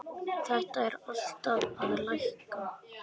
Þetta er alltaf að lækka.